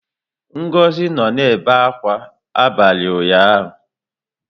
Ngozi nọ na-ebe akwa abalị ụnyaahụ.